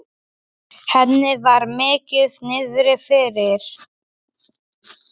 Henni var mikið niðri fyrir.